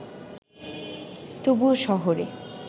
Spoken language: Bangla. তবুও শহরে